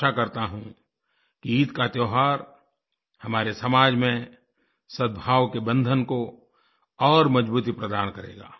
आशा करता हूँ कि ईद का त्योहार हमारे समाज में सद्भाव के बंधन को और मज़बूती प्रदान करेगा